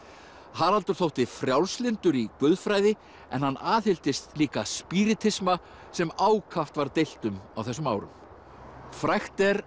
Haraldur þótti frjálslyndur í guðfræði en hann aðhylltist líka spíritisma sem ákaft var deilt um á þessum árum frægt er